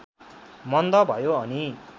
मन्द भयो अनि